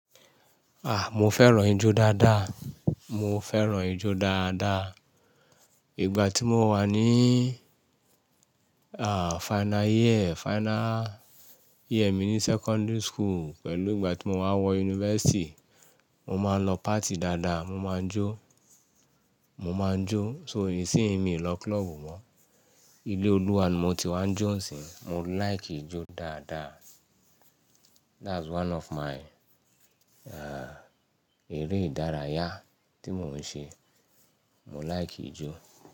A! Mo fẹ́ràn ijó dáadáa. Mo fẹ́ràn ijó dáadáa. Ìgbà tí mo wà ní, a, final year, final year mi ní secondary school pẹ̀lú ìgbà tí mo wà wọ yunifásítì, mo máa ń lọ party dáadáa, mo máa ń jó, mo máa ń jó. So isinyi mi ò lọ club mọ́. Ilé Olúwa ni mo ti wá ń jó ǹsìn. Mo like ijó dáadáa. That's one of my, a, eré ìdárayá tí mò ń ṣe. Mo like ijó.